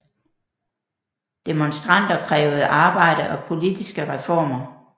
Demonstranter krævede arbejde og politiske reformer